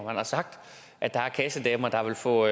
han har sagt at der er kassedamer der ville få